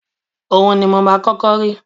Ohun ni mo máa kọ́kọ́ rí